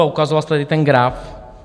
A ukazoval jste tady ten graf.